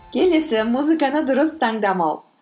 келесі музыканы дұрыс таңдамау